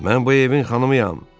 Mən bu evin xanımıyam!